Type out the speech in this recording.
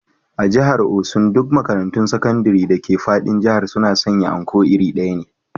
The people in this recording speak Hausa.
A jihar osun duk makarantun sakandire dake fadin jihar suna sanya Anko iri ɗaya ne